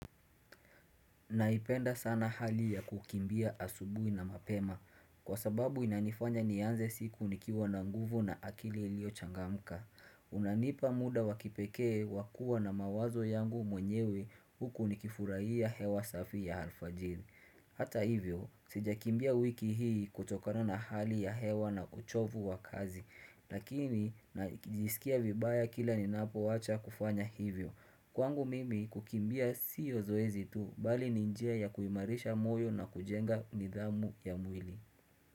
Naipenda sana hali ya kukimbia asubui na mapema. Kwa sababu inanifanya nianze siku nikiwa na nguvu na akile lio changamka. Unanipa muda wakipekee wakua na mawazo yangu mwenyewe huku nikifurahia hewa safi ya alfajidhi. Hata hivyo, sija kimbia wiki hii kutokano na hali ya hewa na kuchovu wa kazi, lakini na jisikia vibaya kila ni napo wacha kufanya hivyo. Kwangu mimi kukimbia siyo zoezi tu, bali ninjia ya kuimarisha moyo na kujenga nidhamu ya mwili.